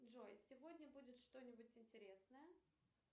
джой сегодня будет что нибудь интересное